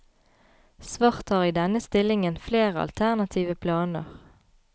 Svart har i denne stillingen flere alternative planer.